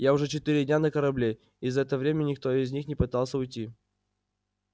я уже четыре дня на корабле и за это время никто из них не пытался уйти